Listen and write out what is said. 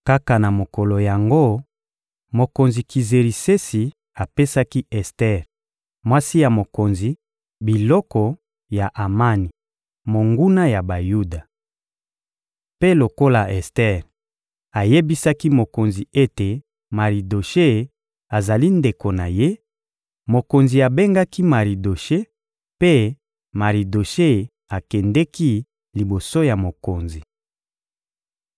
Kaka na mokolo yango, mokonzi Kizerisesi apesaki Ester, mwasi ya mokonzi, biloko ya Amani, monguna ya Bayuda. Mpe lokola Ester ayebisaki mokonzi ete Maridoshe azali ndeko na ye, mokonzi abengaki Maridoshe mpe Maridoshe akendeki liboso ya mokonzi.